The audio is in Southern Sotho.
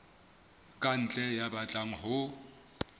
ka ntle ya batlang ho